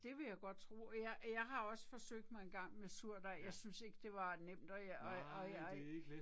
Det vil jeg godt tro, jeg jeg har også forsøgt mig en gang med surdej jeg synes ikke det var nemt og jeg